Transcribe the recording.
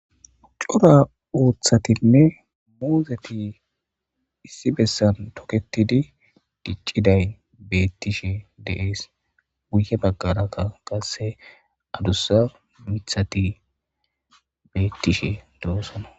uccura ooththatinne muuzeti issi bessan toketidi dicciday beettishe deees wuye baggaraka qasse adussa mithati beettishe doosona